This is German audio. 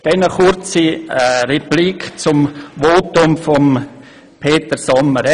Nun eine kurze Replik zum Votum von Grossrat Sommer: